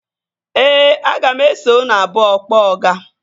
Ee, aga m eso unu abụọ kpọọ ọga